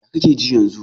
Ya kake ji yanzu?